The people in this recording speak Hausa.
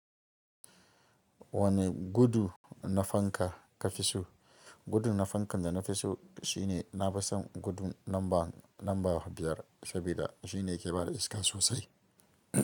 Wane gudu na fanka ka fi so? Gudu na fankan da na fi so shine na fi son gudu namba, namba biyar, sabida shi ne ke bada iska sosai.